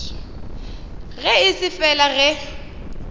ge e se fela ge